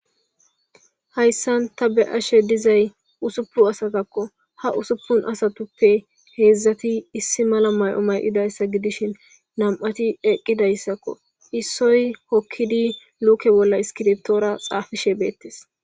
Hayssan ta be7ashe dizay usuppun asazakko. Ha usuppun asatuppe heezati iss mala mayo ma7idayssa gidishin nam7ati eqqidayssako issoy hokkidi luuke bolla iskirittora xaafishe beettes.